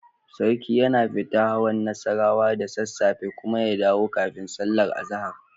Sarki yana fita hawan Nassarawa da sassafe kuma ya dawo kafin sallar azahar.